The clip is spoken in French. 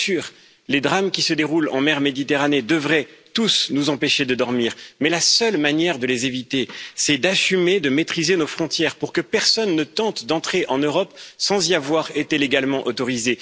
Bien sûr, les drames qui se déroulent en mer Méditerranée devraient tous nous empêcher de dormir, mais la seule manière de les éviter, c'est d'assumer de maîtriser nos frontières, pour que personne ne tente d'entrer en Europe sans y avoir été légalement autorisé.